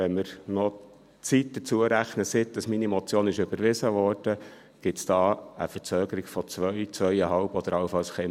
Wenn wir noch die Zeit hinzurechnen, seit meine Motion überwiesen wurde, käme es hier zu einer Verzögerung von zwei, zweieinhalb Jahren oder allenfalls etwas mehr.